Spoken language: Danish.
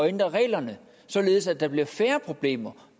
ændre reglerne således at der bliver færre problemer og